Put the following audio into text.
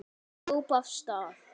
Ég hljóp af stað.